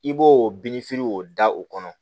I b'o minfiri o da o kɔnɔ